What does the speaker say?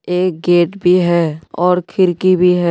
एक गेट भी है और खिड़की भी है।